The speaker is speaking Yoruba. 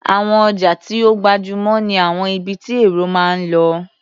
Àwọn ọjà tí ó gbajúmò ní àwọn ibi tí èrò máa ń lọ.